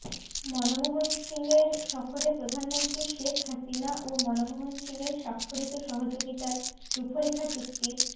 মনমোহন সিংয়ের সফরে প্রধানমন্ত্রী শেখ হাসিনা ও মনমোহন সিংয়ের স্বাক্ষরিত সহযোগিতার রূপরেখা চুক্তির